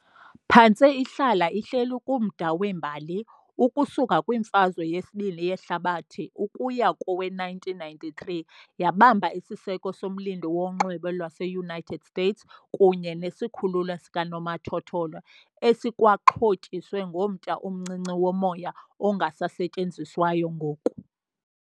Phantse ihlala ihleli kumda wembali, ukusuka kwiMfazwe yesibini yeHlabathi ukuya kowe-1993 yabamba isiseko soMlindi woNxweme lwase-United States kunye nesikhululo sikanomathotholo, esikwaxhotyiswe ngomtya omncinci womoya, ongasasetyenziswayo ngoku.